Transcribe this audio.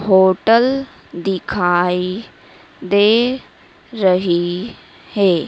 Hotel दिखाई दे रही है।